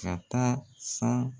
Ka taa san